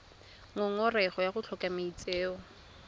ngongorego ya go tlhoka maitseo